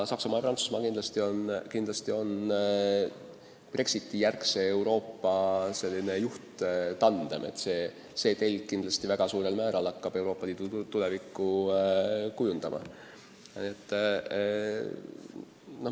Saksamaa ja Prantsusmaa on Brexiti-järgse Euroopa juhttandem ja see telg hakkab kindlasti väga suurel määral Euroopa Liidu tulevikku kujundama.